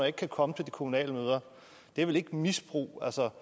ikke kan komme til de kommunale møder det er vel ikke misbrug altså